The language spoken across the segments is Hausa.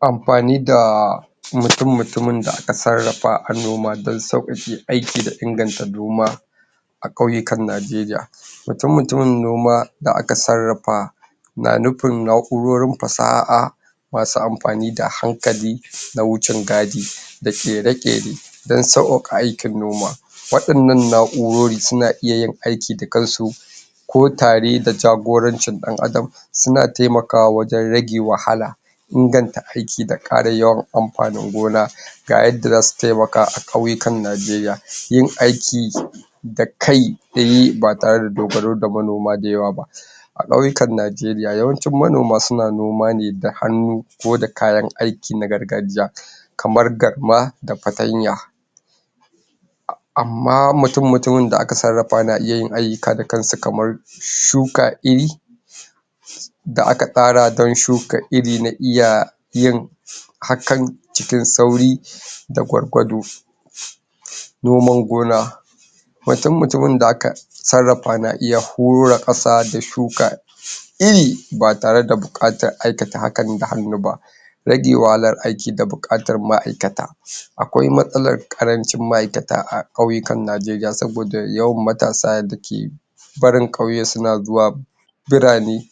‎Amfani da mutum-mutumin da aka sarafa a noma dan saukake aiki da ingata a noma a kauyikan Nigeria mutum-mutumi noma da aka sarafa na nufi naku nurin fasa'ah masu amfani da hankali na wucin gadi da ka rage dan sauki aiki noma wandanna na'urori suna iya yi aiki dukansu ko tari da jaguranci dan adam suna taimaka wa wajen rage wahala ingata aiki da karin yauwa amfani gona ga ya da za su taimaka a kauyikan Nigeria yin aiki da kai beyi ba tare da dogaro da manoma da yauwa ba, a kauyikan Nigeria yawanci manoma suna noma ne da hanu ko da kayan aiki na gargajiya kamar da garma da pantanya amma mutum-mutum da aka sarafawa na iya aika da kan sa kamar shuka iri da aka tsara dan shuka iri na iya yin hakan cikin sauri da gwargwado. Noma gona mutum mutum da aka sarafa na iya horra kasa da shuka iri ba tare da bukata aikata hakan da hanu ba rage wahala aiki da bugata ma'aikata akwai masala karanci ma'aikata a kauyikan Nigeria sobada yawan matasa da ke barin kyauye su na zuwa birani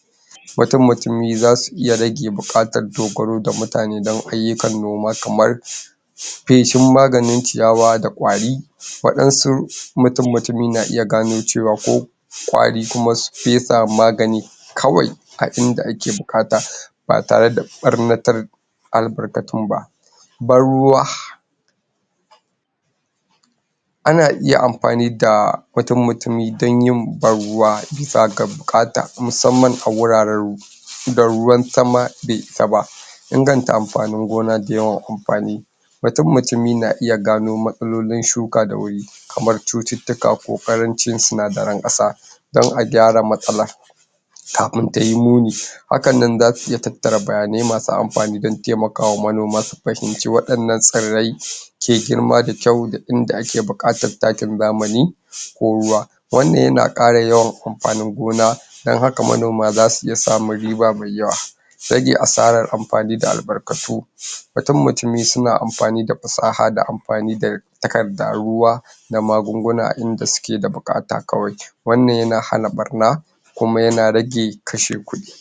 mutum-mutum zai su iya rage bukata dogoro da mutane dan aiyukan noma kamar feshin magani ciyawa da kwari wandasu mutum-mutum na iya gano ciwa ko kwari kuma su fesa magani kawai a inda ake bukata ba tare da baranatar albarkatul ba. Ban ruwa, ana iya amfani da mutum-mutum dan yin ban ruwa bisa da bukata musaman wuraren da ruwan sama be isa ba. Ingata amfani gona da yawan amfani mutum-mutum na iya gano masalolin shuka da wuri kamar coticika kokarin ci sinadarin kasa don a gyara matsala kafin tayi muni, haka ne zasu iya tatara bayyane masu amfani da taimaka manoma su fahimci wandana surai ke grima da kyau inda aka bukata taki zamani ko ruwa wanna ye na kara yauwa amfani gona dan haka manoma za su iya sa mai riba ma yauwa, rage asara amfani da albarkatu mutum-mutum suna amfani da fisaha da amfani da takkadun ruwa da magungunan inda suke bukata kwai wana ye na hana barna kuma ya na rage kashin kudi.